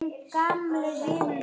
Það þarf ekki Tyrki til.